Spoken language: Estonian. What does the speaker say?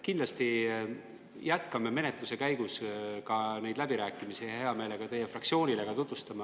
Kindlasti me jätkame menetluse käigus läbirääkimisi ja me hea meelega ka teie fraktsioonile kõike tutvustame.